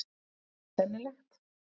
Er það sennilegt?